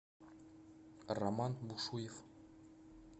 роман бушуев